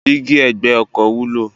Dígí ẹ̀gbẹ́ ọkọ̀ wúlò.